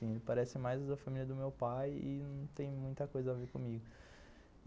Ele parece mais a família do meu pai e não tem muita coisa a ver comigo.